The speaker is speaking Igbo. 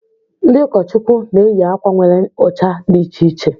Ndị ụkọchukwu na-eyị akwa nwere ucha dị iche iche.